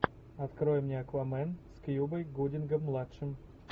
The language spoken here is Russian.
открой мне аквамен с кьюбой гудингом младшим